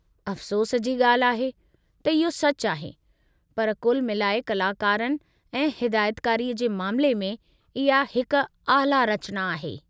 अफ़सोस जी ॻाल्हि आहे, त इहो सचु आहे, पर कुल मिलाए कलाकारनि ऐं हिदायतकारी जे मामिले में इहा हिक आला रचना आहे।